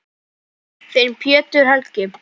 Þinn, Pétur Helgi.